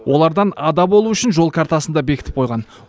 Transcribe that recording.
олардан ада болу үшін жол картасын да бекітіп қойған